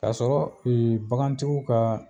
Kasɔrɔ bagantigiw kaa